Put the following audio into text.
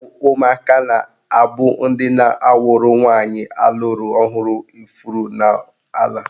Ọ bụ ụmụaka na-abụ ndị na-awụrụ nwaanyị alụrụ ọhụrụ ifuru n'ala.